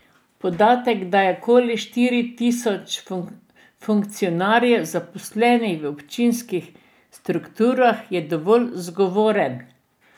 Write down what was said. Podatek, da je okoli štiri tisoč funkcionarjev zaposlenih v občinskih strukturah, je dovolj zgovoren.